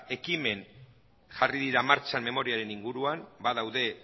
ekimen jarri dira martxan memoriaren inguruan badaude